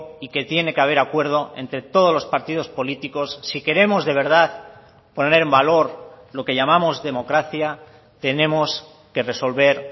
y que tiene que haber acuerdo entre todos los partidos políticos si queremos de verdad poner en valor lo que llamamos democracia tenemos que resolver